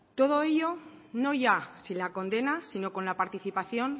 todo ello no ya sin la condena sino con la participación